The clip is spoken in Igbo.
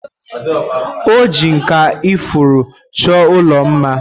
Oji nkà ifuru chọọ ụlọ mma.